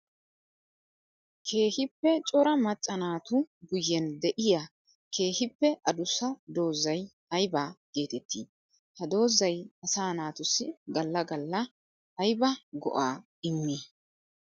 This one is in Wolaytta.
Keehippe cora maca naatu guyen de'iya keehippe adussa doozay aybba geetetti? Ha doozay asaa naatussi gala gala aybba go'a immii?